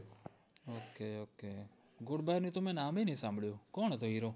okay okay good bye તમે નામ એ નય સાંભળીયુ કોણ હતો hero?